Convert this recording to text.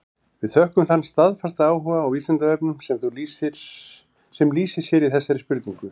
Við þökkum þann staðfasta áhuga á Vísindavefnum sem lýsir sér í þessari spurningu.